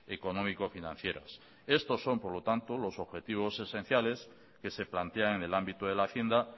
económico financieras esto son por lo tanto los objetivos esenciales que se plantean en el ámbito de la hacienda